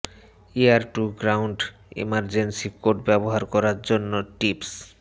air to ground emergency code ব্যবহার করার জন্য টিপস